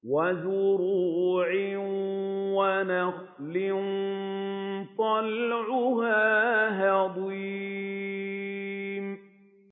وَزُرُوعٍ وَنَخْلٍ طَلْعُهَا هَضِيمٌ